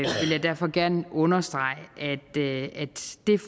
derfor gerne understrege at det